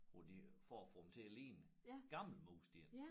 Hvor de for at få dem til at ligne gamle mursten